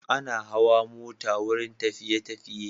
Ana hawa mota wurin tafi_tafiye